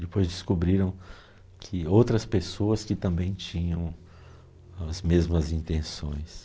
Depois descobriram que outras pessoas que também tinham as mesmas intenções.